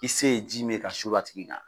I se ye ji min ye ka sulu a tigi kan.